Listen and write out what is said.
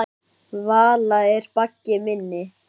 Vala er baggi minni.